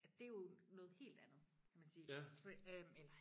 ja det er jo noget helt andet kan man sige for øhm eller